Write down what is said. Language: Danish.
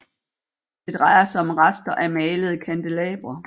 Det drejer sig om rester af malede kandelabre